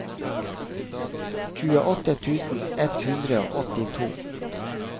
tjueåtte tusen ett hundre og åttito